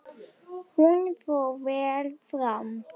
Hún fór vel fram.